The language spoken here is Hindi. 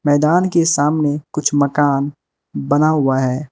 मैदान के सामने कुछ मकान बना हुआ है।